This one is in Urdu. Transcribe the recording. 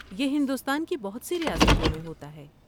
یہ ہندوستان کی بہت سی ریاستوں میں ہوتا ہے۔